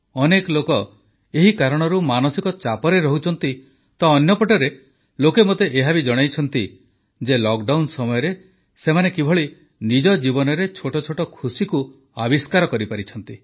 ଅନେକ ଲୋକ ଏହି କାରଣରୁ ମାନସିକ ଚାପରେ ରହୁଛନ୍ତି ତ ଅନ୍ୟପଟେ ଲୋକେ ମୋତେ ଏହା ବି ଜଣାଇଛନ୍ତି ଯେ ଲକଡାଉନ ସମୟରେ ସେମାନେ କିପରି ନିଜ ଜୀବନରେ ଛୋଟଛୋଟ ଖୁସିକୁ ଆବିଷ୍କାର କରିପାରିଛନ୍ତି